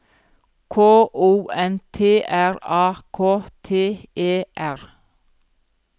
K O N T R A K T E R